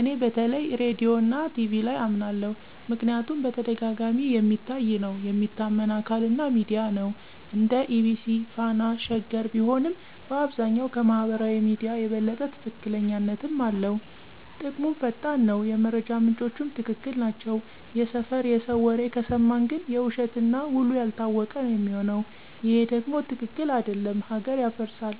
እኔ በተለይ ራዲዮና ቲቪ ላይ አመናለሁ ምክንያቱም በተደጋጋሚ የሚታይ ነው፣ የሚታመን አካል እና ሚዲያ ነው (እንደ EBC፣ Fana፣ Sheger ቢሆንም)፣ በአብዛኛው ከማህበራዊ ሚዲያ የበለጠ ትክክለኛነትም አለው። ጥቅሙም ፈጣን ነው፣ የመረጃ ምንጮቹም ትክክል ናቸው። የሰፈር የሰው ወሬ ከሰማን ግን የውሸት እና ውሉ ያልታወቀ ነው ሚሆነው ይሄ ደም ትክክል አደለም ሀገር ያፈርሳል።